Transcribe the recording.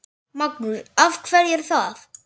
Magnús: Af hverju er það?